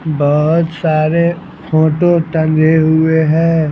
बहुत सारे फोटो टंगे हुए हैं।